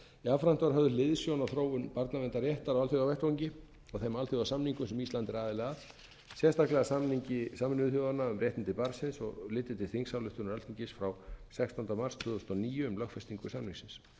jafnframt var höfð hliðsjón af þróun barnaverndarréttar á alþjóðavettvangi og þeim alþjóðasamningum sem ísland er aðili að sérstaklega samningi sameinuðu þjóðanna um réttindi barnsins og litið til þingsályktunar alþingis frá sextánda mars tvö þúsund og níu um lögfestingu samningsins